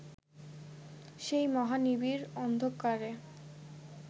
সেই মহা নিবিড় অন্ধকারে